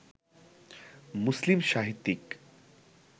মুসলিম সাহিত্যিক